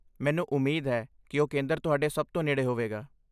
ਮੈਨੂੰ ਉਮੀਦ ਹੈ ਕਿ ਉਹ ਕੇਂਦਰ ਤੁਹਾਡੇ ਸਭ ਤੋਂ ਨੇੜੇ ਹੋਵੇਗਾ।